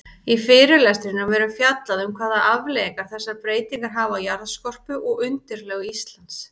Í fyrirlestrinum verður fjallað um hvaða afleiðingar þessar breytingar hafa á jarðskorpu og undirlög Íslands.